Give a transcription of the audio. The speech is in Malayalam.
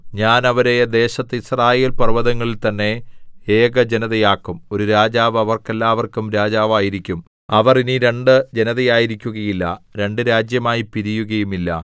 ഞാൻ അവരെ ദേശത്ത് യിസ്രായേൽ പർവ്വതങ്ങളിൽ തന്നെ ഏകജനതയാക്കും ഒരു രാജാവ് അവർക്കെല്ലാവർക്കും രാജാവായിരിക്കും അവർ ഇനി രണ്ടു ജനതയായിരിക്കുകയില്ല രണ്ടു രാജ്യമായി പിരിയുകയുമില്ല